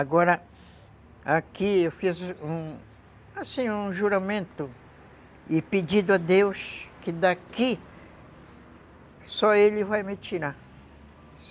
Agora, aqui eu fiz um, assim, um juramento e pedido a Deus que daqui, só Ele vai me tirar.